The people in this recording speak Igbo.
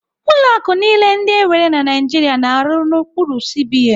Ụlọ akụ niile ndị enwere na Naijiria na-arụ n'okpuru CBN.